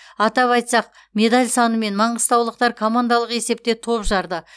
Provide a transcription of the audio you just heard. атап айтсақ медаль санымен маңғыстаулықтар командалық есепте топ жарды